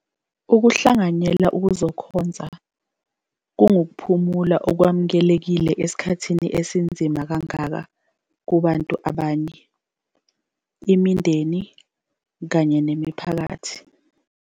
Ukuhlanganyela ukuzokhonza kungukuphumula okwamukelekile esikhathini esinzima kangaka kubantu ngabanye, imindeni kanye nemiphakathi.